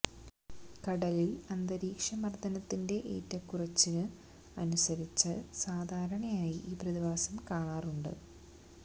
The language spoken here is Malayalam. കടലില് അന്തരീക്ഷ മര്ദത്തിന്റെ ഏറ്റക്കുറച്ചിന് അനുസരിച്ച് സാധാരണയായി ഈ പ്രതിഭാസം കാണാറുണ്ട്